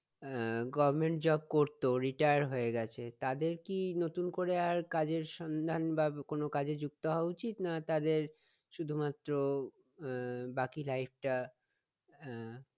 আহ Government job করত retire হয়ে গেছে তাদের কি নতুন করে আর কাজের সন্ধান বা কোনো কাজে যুক্ত হওয়া উচিৎ না না তাদের শুধুমাএ আহ বাকি life টা আহ